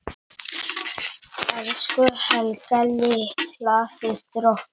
Elsku Helga litla systir okkar.